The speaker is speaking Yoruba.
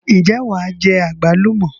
Ǹjẹ́ wàá jẹ àgbálùmọ̀?